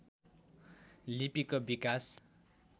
लिपिको विकास